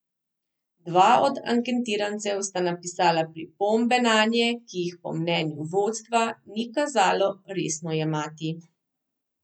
Dva od anketirancev sta napisala pripombe nanje, ki jih po mnenju vodstva ni kazalo resno jemati.